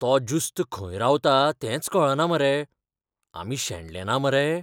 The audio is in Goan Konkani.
तो ज्युस्त खंय रावता तेंच कळना मरे. आमी शेणले ना मरे?